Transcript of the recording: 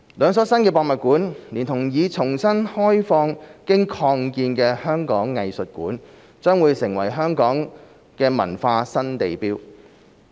兩所新的博物館，連同已重新開放經擴建的香港藝術館，將成為香港的文化新地標。